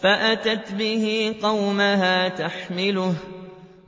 فَأَتَتْ بِهِ قَوْمَهَا تَحْمِلُهُ ۖ